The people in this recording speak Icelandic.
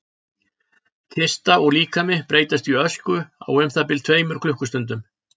kista og líkami breytast í ösku á um það bil tveimur klukkustundum